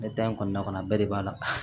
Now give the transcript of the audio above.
Ne da in kɔnɔna kɔnɔ a bɛɛ de b'a la